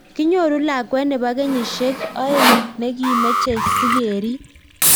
Kinyoruu lakwet neboo kenyisiek oeng nekimechee sikeriip